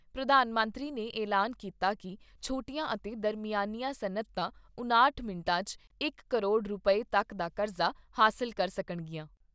ਪ੍ਰਧਾਨ ਮੰਤਰੀ ਨੇ ਐਲਾਨ ਕੀਤਾ ਕਿ ਛੋਟੀਆਂ ਅਤੇ ਦਰਮਿਆਨੀਆਂ ਸਨੱਅਤਾਂ ਉਣਾਹਟ ਮਿੰਟਾਂ 'ਚ ਇਕ ਕਰੋੜ ਰੁਪਏ ਤੱਕ ਦਾ ਕਰਜ਼ਾ ਹਾਸਲ ਕਰ ਸਕਣਗੀਆਂ।